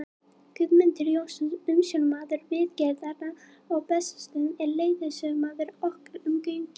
Guðmundur Jónsson, umsjónarmaður viðgerðanna á Bessastöðum, er leiðsögumaður okkar um göngin.